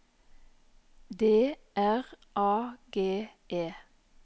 D R A G E